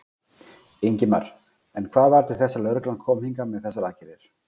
Ingimar: En hvað varð til þess að lögreglan kom hingað með þessar aðgerðir?